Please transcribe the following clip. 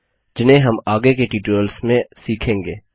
जिन्हें हम आगे के ट्यूटोरियल्स में सीखेंगे